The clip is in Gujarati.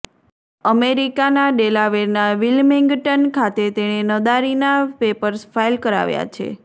અમેરિકાના ડેલાવેરનાં વિલ્મિંગ્ટન ખાતે તેણે નાદારીનાં પેપર્સ ફાઈલ કરાવ્યા છે